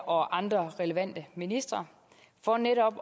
og andre relevante ministre for netop